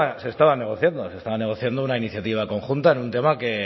se estaba negociando se estaba negociando una iniciativa conjunta en un tema que